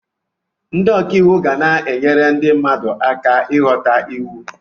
Ndị ọka iwu ga-enyere ndị mmadụ aka ịghọta iwu